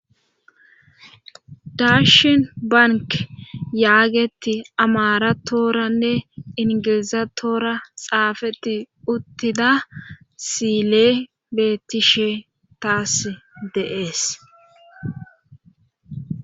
dashin bank yaagetti amaratooranne ingilizatoora xaafetti uttida si'ile beettishe taas dee'es